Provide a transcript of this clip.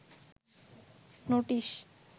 notice